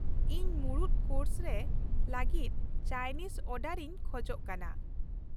ᱤᱧ ᱢᱩᱬᱩᱫ ᱠᱳᱨᱥ ᱨᱮ ᱞᱟᱹᱜᱤᱫ ᱪᱟᱭᱱᱤᱡᱽ ᱚᱨᱰᱟᱨ ᱤᱧ ᱠᱷᱚᱡ ᱠᱟᱱᱟ ᱾